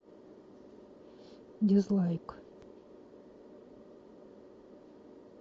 дизлайк